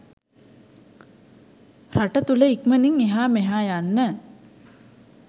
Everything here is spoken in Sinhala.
රට තුළ ඉක්මනින් එහා මෙයා යන්න